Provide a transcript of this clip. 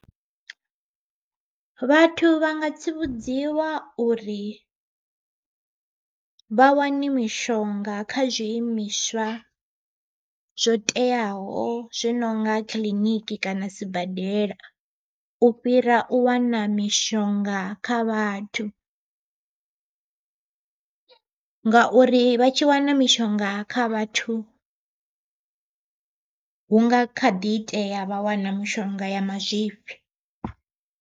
Vhathu vha nga tsivhudziwa uri vha wane mishonga kha zwiimiswa zwo teaho zwi nonga kiḽiniki kana sibadela, u fhira u wana mishonga kha vhathu ngauri vha tshi wana mishonga kha vhathu, hu nga kha ḓi itea vha wana mishonga ya mazwifhi.